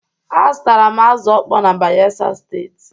Azụtara m azụ̀ ọkpọ na Bayelsa Steeti.